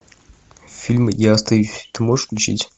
фильм я остаюсь ты можешь включить